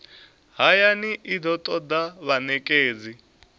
hayani i do toda vhanekedzi